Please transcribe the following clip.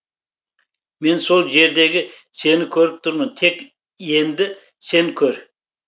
мен сол жердегі сені көріп тұрмын тек енді сен көр